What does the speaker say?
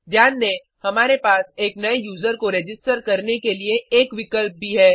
ध्यान दें हमारे पास एक नए यूज़र को रजिस्टर करने के लिए एक विकल्प भी है